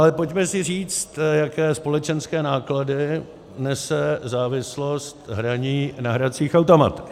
Ale pojďme si říct, jaké společenské náklady nese závislost hraní na hracích automatech.